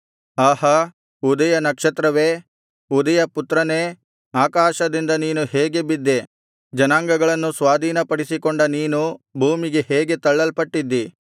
ಆಹಾ ಉದಯನಕ್ಷತ್ರವೇ ಉದಯಪುತ್ರನೇ ಆಕಾಶದಿಂದ ನೀನು ಹೇಗೆ ಬಿದ್ದೆ ಜನಾಂಗಗಳನ್ನು ಸ್ವಾಧೀನಪಡಿಸಿಕೊಂಡ ನೀನು ಭೂಮಿಗೆ ಹೇಗೆ ತಳಲ್ಪಟ್ಟಿದ್ದೀ